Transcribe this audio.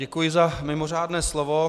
Děkuji za mimořádné slovo.